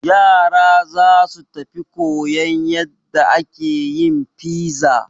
Yara za su tafi koyan yadda ake yin fiza.